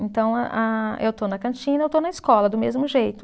Então, a eu estou na cantina, eu estou na escola, do mesmo jeito.